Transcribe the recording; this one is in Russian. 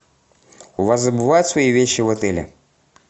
у вас забывают свои вещи в отеле